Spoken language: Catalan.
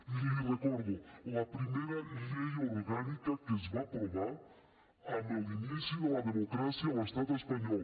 i l’hi recordo la primera llei orgànica que es va aprovar a l’inici de la democràcia a l’estat espanyol